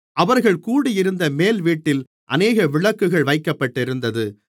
அவர்கள் கூடியிருந்த மேல்வீட்டில் அநேக விளக்குகள் வைக்கப்பட்டிருந்தது